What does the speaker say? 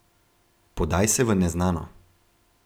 Podaj se v neznano.